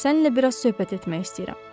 Səninlə biraz söhbət etmək istəyirəm.